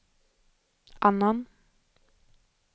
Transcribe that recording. annan